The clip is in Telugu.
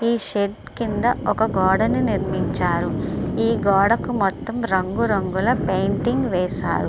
ఈ షెడ్ కింద ఒక గోడను నిర్మించారు ఈ గోడకు మొత్తం రంగు రంగు ల పెయింటింగ్ వేశారు.